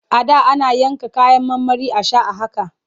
A da ana yanka kayan marmari a sha a haka.